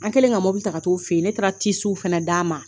An kɛlen ka mɔbili ta ka taa' fɛ yen, ne taara fɛnɛ d'aa ma.